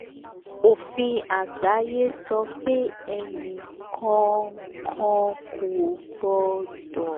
òfin àgbáyé sọ pé ẹnì kọọkan kò gbọ́dọ̀ ná jù 10 percent lórí ọkọ̀.